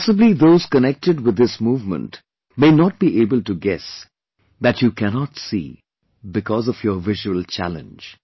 And possibly those connected with this movement may not be able to guess that you cannot see because of your visual challenge